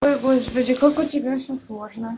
ой господи как у тебя всё сложно